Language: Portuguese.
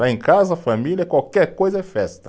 Lá em casa, família, qualquer coisa é festa.